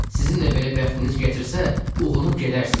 Sizin də belə bəxtiniz gətirsə, uğunub gedərsiz.